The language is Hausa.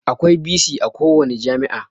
Akwai bc a kowani jami'a